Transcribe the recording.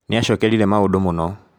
Nĩ acokerire maũndũ mũno.